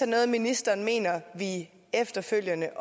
noget ministeren mener vi efterfølgende